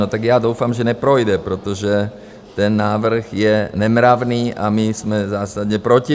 No, tak já doufám, že neprojde, protože ten návrh je nemravný a my jsme zásadně proti.